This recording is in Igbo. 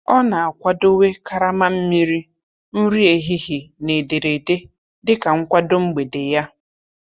Ọ na-akwadowe karama mmiri, nri ehihie, na ederede dịka nkwado mgbede ya.